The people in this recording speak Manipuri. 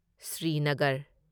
ꯁ꯭ꯔꯤꯅꯒꯔ